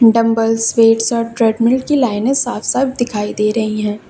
Dumbbells weights और treadmill की लाइने साफ साफ दिखाई दे रही है।